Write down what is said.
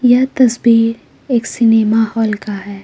यह तस्वीर एक सिनेमा हॉल का है।